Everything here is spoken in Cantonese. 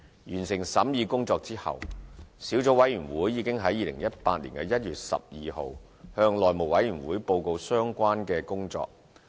完成審議工作後，小組委員會已在2018年1月12日向內務委員會報告相關工作。